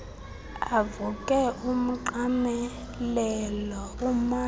avuke umqamelelo umanzi